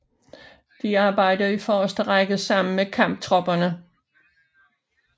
De arbejder i forreste række sammen med Kamptropperne